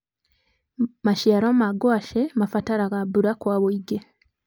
maciaro ma ngwaci mabataraga mbura Kwa ũingĩ.